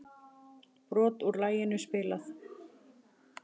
Brot úr laginu spilað